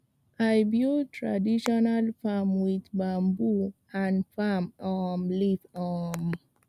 i build traditional farm with bamboo and palm um leaf um